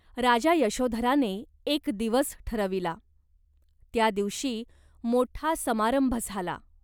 राजा यशोधराने एक दिवस ठरविला. त्या दिवशी मोठा समारंभ झाला.